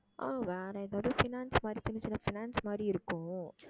ஆஹ் வேற எதாவது finance மாதிரி சின்னச் சின்ன finance மாதிரி இருக்கும்